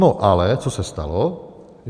No ale co se stalo?